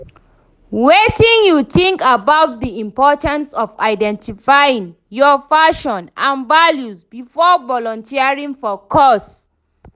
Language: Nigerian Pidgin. wetin you think about di importance of identifying your passion and values before volunteering for cause?